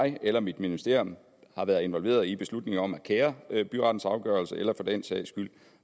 jeg eller mit ministerium været involveret i beslutningen om at kære byrettens afgørelse eller for den sags skyld